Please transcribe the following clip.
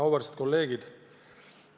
Auväärsed kolleegid!